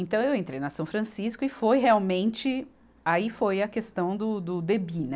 Então eu entrei na São Francisco e foi realmente, aí foi a questão do, do, do debim, né?